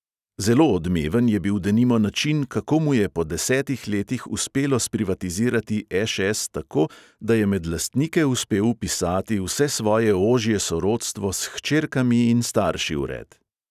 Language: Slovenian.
Zelo odmeven je bil denimo način, kako mu je po desetih letih uspelo sprivatizirati ŠS tako, da je med lastnike uspel vpisati vse svoje ožje sorodstvo s hčerkami in starši vred.